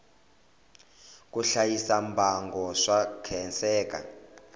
ku hlayisa mbango swa khenseka